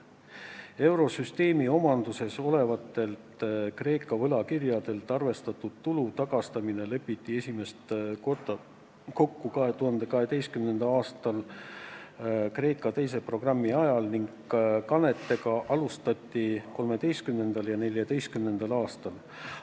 Eurosüsteemi omanduses olevatelt Kreeka võlakirjadelt arvestatud tulu tagastamine lepiti esimest korda kokku 2012. aastal Kreeka teise programmi ajal ning kandeid alustati 2013. ja 2014. aastal.